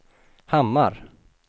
Hammar